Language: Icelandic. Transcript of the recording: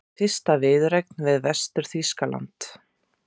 Fyrsta viðureignin við Vestur-Þýskaland